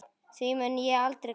Því mun ég aldrei gleyma.